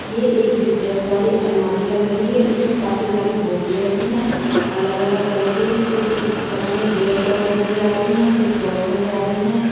ये एक जिगजैग वाली अलमारी लग रही हैं इसमें काफी सारी बोतलें रखी हैं अलग-अलग कलर की कुछ पता नहीं बीयर शॉप नजर आ रही हैं कुछ बॉक्स नजर आ रही हैं।